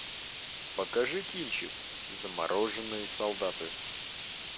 покажи кинчик замороженные солдаты